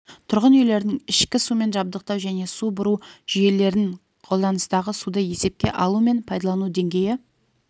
тұрғын үйлердің ішкі сумен жабдықтау және су бұру жүйелерін қолданыстағы суды есепке алу мен пайдалану деңгейі